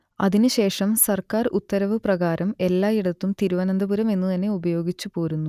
അതിനു ശേഷം സർക്കാർ ഉത്തരവു പ്രകാരം എല്ലായിടത്തും തിരുവനന്തപുരം എന്നുതന്നെ ഉപയോഗിച്ചുപോരുന്നു